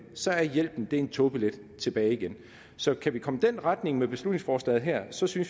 så er hjælpen en togbillet tilbage igen så kan vi komme i den retning med beslutningsforslaget her synes vi